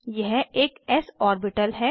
यह एक S orbital है